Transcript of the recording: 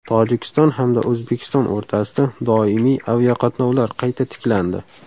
Tojikiston hamda O‘zbekiston o‘rtasida doimiy aviaqatnovlar qayta tiklandi.